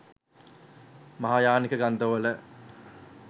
මහායානික ග්‍රන්ථවල